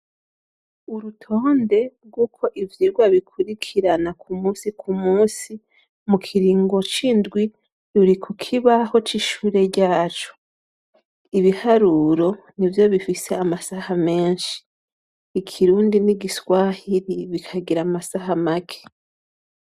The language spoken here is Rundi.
Urutonde rwuko ivyigwa bikurikirana ku musi ku musi mu kiringo c'indwi, ruri ku kibaho c'ishure ryacu, ibiharuro n'ivyo bifise amasaha menshi, ikirundi n'igiswahiri bikagira amasaha make.